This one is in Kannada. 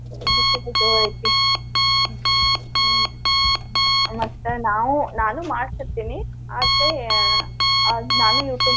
ಬಿಸಿಲ್ ಜೊರೈತಿ ಹ್ಮ್ ಮತ್ ನಾನು ಮಾಡ್ತಿರ್ತೇನಿ ಆದ್ರೆ ಆದ್ ನಾನು YouTube